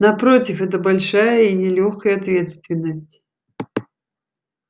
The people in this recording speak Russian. напротив это большая и нелёгкая ответственность